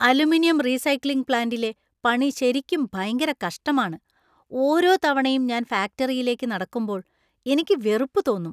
Aluminium recycling പ്ലാന്‍റിലെ പണി ശരിക്കും ഭയങ്കര കഷ്ടമാണ് ,ഓരോ തവണയും ഞാൻ ഫാക്ടറിയിലേക്ക് നടക്കുമ്പോൾ എനിക്ക് വെറുപ്പ് തോന്നും.